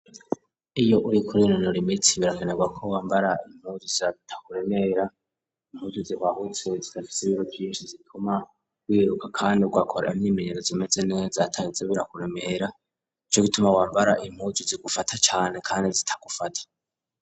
Iyo uriko kuri urinonora imitsi birakenerwa ko wambara impuju zita kuremera impuzu zihwahutse zidafise ibiro vyinshi zituma wiruka kandi wakora imy'imenyerezo zimeze zatangitse birakuremera nico gituma wambara impuzu zigufata cane kandi zitagufata.